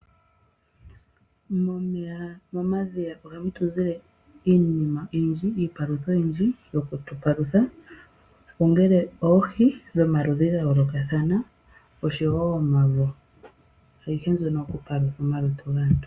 Momeya momadhiya ohamu tuzile iinima oyindji iipalutha oyindji yoku tupalutha ongele oohi dho maludhi ga yolokathana osho woo omavo, ayihe nzono oyo kupalutha omalutu gaantu